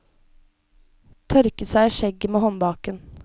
Tørket seg i skjegget med håndbaken.